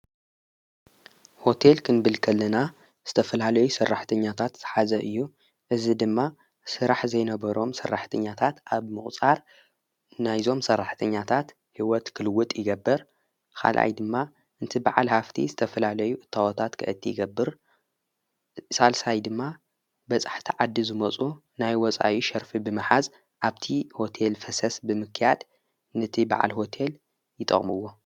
ሆቴል ክንብልከለና ዝተፍላለዩ ሠራሕ ተኛታት ተሓዘ እዩ እዝ ድማ ሥራሕ ዘይነበሮም ሠራሕ ተኛታት ኣብ መቝፃር ናይዞም ሠራሕተኛታት ሕይወት ክልውጥ ይገብር ኻልኣይ ድማ እንቲ በዓል ሃፍቲ ዝተፍላለዩ እታወታት ክእቲ ይገብር ሣልሳይ ድማ በጻሕ ቲ ዓዲ ዝመጹ ናይ ወፃዊ ሸርፊ ብመሓዝ ኣብቲ ሆቴል ፈሰስ ብምክያድ ነቲ በዕል ሆቴል ይጠምዎ ።